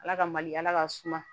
Ala ka mali ala ka suma